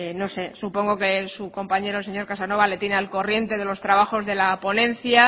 no sé supongo que su compañero el señor casanova le tiene al corriente de los trabajos de la ponencia